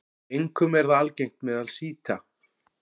Einkum er það algengt meðal sjíta.